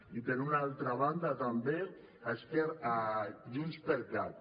i per una altra banda també a junts per cat